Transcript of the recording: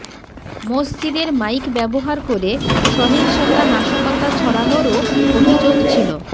মসজিদের মাইক ব্যবহার করে সহিংসতা নাশকতা ছড়ানোরও অভিযোগ ছিল